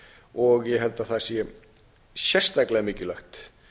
og ég held að það sé sérstaklega mikilvægt